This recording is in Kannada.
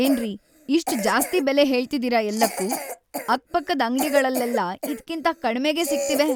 ಏನ್ರಿ ಇಷ್ಟ್‌ ಜಾಸ್ತಿ ಬೆಲೆ ಹೇಳ್ತಿದೀರ ಎಲ್ಲಕ್ಕೂ! ಅಕ್ಕಪಕ್ಕದ್‌ ಅಂಗ್ಡಿಗಳಲ್ಲೆಲ್ಲ ಇದ್ಕಿಂತ ಕಡ್ಮೆಗೇ ಸಿಗ್ತಿವೆ.